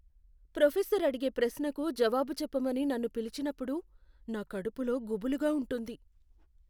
Professor అడిగే ప్రశ్నకు జవాబు చెప్పమని నన్ను పిలిచినప్పుడు నా కడుపులో గుబులుగా ఉంటుంది.